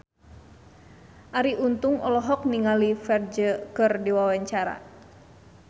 Arie Untung olohok ningali Ferdge keur diwawancara